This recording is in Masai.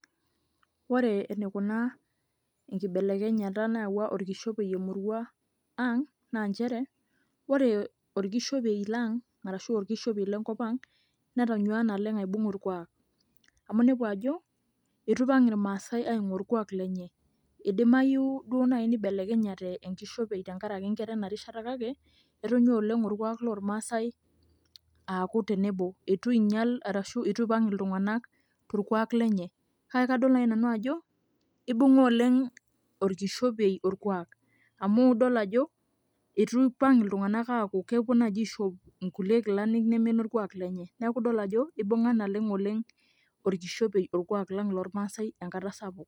Ore enikunaa enkibelekenyata naawua orkishopei emurua ang, naa njere, ore orkishopei lang', arashu orkishopei lenkop ang', netanyuaa naleng aibung' orkuak. Amu nepu ajo, itu ipang' irmaasai aing'ua orkuak lenye. Idimayu duo nai nibelekenyata orkishopei tenkaraki nkera enarishata kake, etonyua oleng orkuak lormasai aaku tenebo. Itu inyal arashu itu ipang' iltung'anak torkuak lenye. Kake kadol nai nanu ajo, ibung'a oleng orkishopei orkuak. Amu idol ajo, itu ipang' iltung'anak aku kepuo naji aishop inkulie kilani nemenorkuak lenye. Neeku idol ajo, ibung'a naleng' oleng orkishopei orkuak lang' lormasai enkata sapuk.